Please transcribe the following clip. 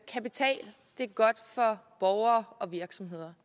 kapital det er godt for borgere og virksomheder